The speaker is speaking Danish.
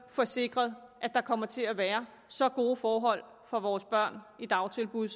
få sikret at der kommer til at være så gode forhold for vores børn i dagtilbud